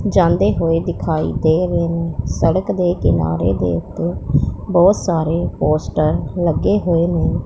जानदे हुए दिखाई दे रहे हैं सड़क दे किनारे देखते बहुत सारे पोस्टर लगे हुए ने--